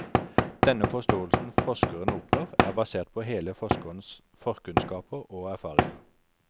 Den forståelsen forskeren oppnår, er basert på hele forskerens forkunnskaper og erfaringer.